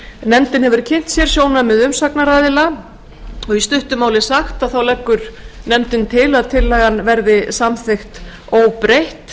nefndin hefur kynnt sér sjónarmið umsagnaraðila og í stuttu máli sagt leggur nefndin til að tillagan verði samþykkt óbreytt